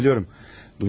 Bunları biliyorum.